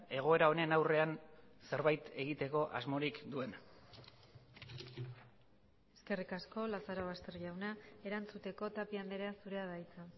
egoera honen aurrean zerbait egiteko asmorik duen eskerrik asko lazarobaster jauna erantzuteko tapia andrea zurea da hitza